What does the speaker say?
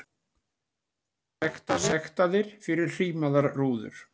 Sektaðir fyrir hrímaðar rúður